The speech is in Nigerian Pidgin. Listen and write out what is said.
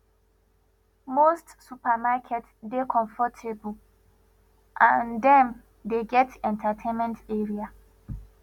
most supermarket dey comfortable and dem dey get entertainment area